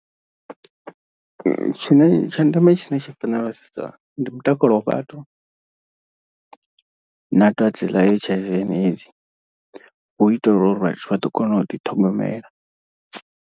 Tshine tsha ndeme tshine tsha ra fanela sedza ndi mutakalo wa vhathu na dwadze ḽa H_I_V and AIDS, hu itela uri vhathu vha ḓo kona u ḓiṱhogomela.